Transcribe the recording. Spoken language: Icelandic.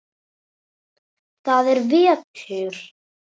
Það er vetur.